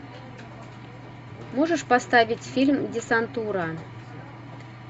можешь поставить фильм десантура